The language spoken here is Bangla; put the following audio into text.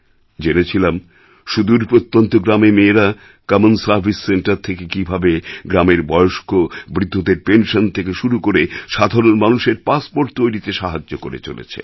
জেনেছিলাম সুদূর প্রত্যন্ত গ্রামে মেয়েরা কমন সার্ভিস সেন্টার থেকে কীভাবে গ্রামের বয়স্ক বৃদ্ধদের পেনসন থেকে শুরু করে সাধারণ মানুষের পাসপোর্ট তৈরিতে সাহায্য করে চলেছে